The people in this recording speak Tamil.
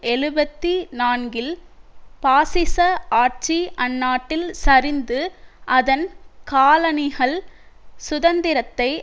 எழுபத்தி நான்கில் பாசிச ஆட்சி அந்நாட்டில் சரிந்து அதன் காலனிகள் சுதந்திரத்தை